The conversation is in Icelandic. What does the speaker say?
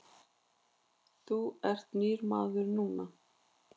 Þú ert nýr maður núna.